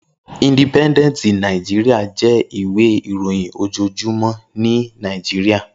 Indípèndèntí Nàijiriá jè iwé iróyin ójójúmò ni Nàijiriá